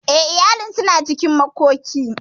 Eh, iyalin suna cikin makoki.